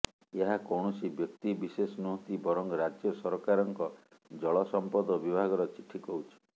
ଏହା କୌଣସି ବ୍ୟକ୍ତି ବିଶେଷ ନୁହଁନ୍ତି ବରଂ ରାଜ୍ୟ ସରକାରଙ୍କ ଜଳ ସମ୍ପଦ ବିଭାଗର ଚିଠି କହୁଛି